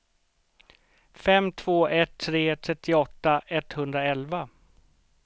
fem två ett tre trettioåtta etthundraelva